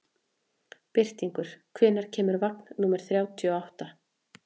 Birtingur, hvenær kemur vagn númer þrjátíu og átta?